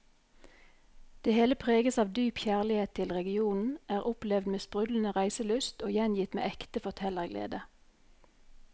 Det hele preges av dyp kjærlighet til regionen, er opplevd med sprudlende reiselyst og gjengitt med ekte fortellerglede.